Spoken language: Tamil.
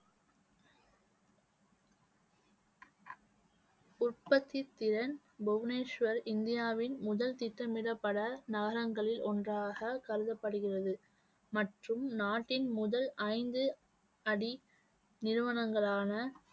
உற்பத்தி திறன் புவனேஸ்வர் இந்தியாவின் முதல் திட்டமிடப்பட்ட நகரங்களில் ஒன்றாக கருதப்படுகிறது மற்றும் நாட்டின் முதல் ஐந்து நிறுவனங்களான